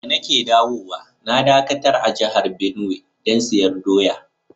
Da na ke dawowa na dakatar a jihar Benue dan siyan doya.